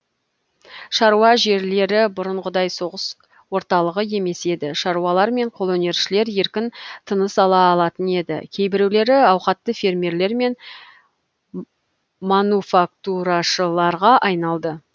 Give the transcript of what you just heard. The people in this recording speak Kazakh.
шаруа жерлері бұрынғыдай соғыс орталығы емес еді шаруалар мен қолөнершілер еркін тыныс ала алатын еді кейбіреулері ауқатты фермерлер мен мануфактурашыларға айналды